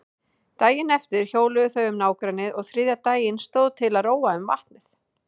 Daginn eftir hjóluðu þau um nágrennið og þriðja daginn stóð til að róa um vatnið.